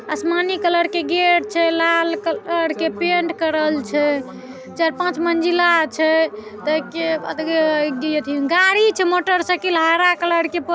आसमानी कलर के गेट छै लाल कलर के पेन्ट करल छै चाऐर पाँच मंजिला छै गाड़ी छै मोटरसाइकिल हरा कलर के --